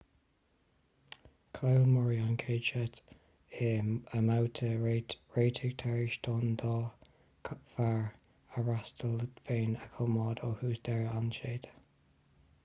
chaill murray an chéad seit i mbabhta réitigh tar éis don dá fhear a fhreastal féin a choimeád ó thús deireadh an tseite